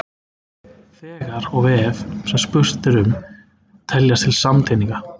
Þegar og ef sem spurt er um teljast til samtenginga.